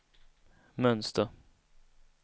mönster